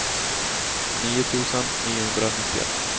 nio tusen niohundranittioett